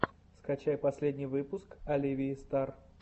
скачай последний выпуск оливии стар